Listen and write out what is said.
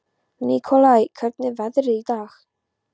Nikolai, hvernig er veðrið í dag?